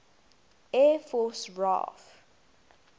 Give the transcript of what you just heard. air force raaf